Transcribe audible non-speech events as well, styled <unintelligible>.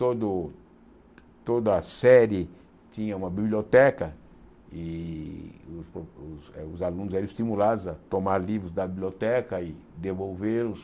Todo toda série tinha uma biblioteca e os <unintelligible> os eh os alunos eram estimulados a tomar livros da biblioteca e devolvê-los.